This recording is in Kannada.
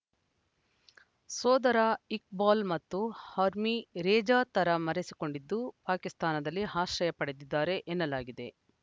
ಸೋದರ ಇಕ್ಬಾಲ್‌ ಮತ್ತು ಹರ್ಮಿ ರೇಜಾ ತರೆ ಮರೆಸಿಕೊಂಡಿದ್ದು ಪಾಕಿಸ್ತಾನದಲ್ಲಿ ಆಶ್ರಯ ಪಡೆದಿದ್ದಾರೆ ಎನ್ನಲಾಗಿದೆ